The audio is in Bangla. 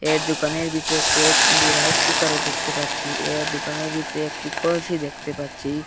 এর দুকানের ভিতরে কয়েকগুলো রাইস কুকার -ও দেখতে পাচ্ছি এর দুকানের ভিতরে একটি কলসি দেখতে পাচ্ছি।